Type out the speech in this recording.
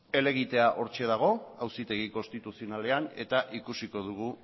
helegitea hortxe dago auzitegi konstituzionalean eta ikusiko dugu